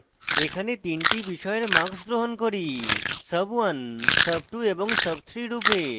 এখানে তিনটি বিষয়ের marks গ্রহণ করি sub1 sub2 এবং sub3 রূপে